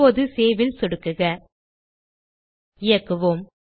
இப்போது Saveல் சொடுக்குக இயக்குவோம்